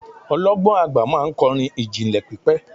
ọlọgbọn agba ma n kọrin ijinlẹ pipẹ